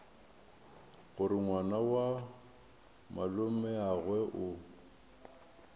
gore ngwana wa malomeagwe o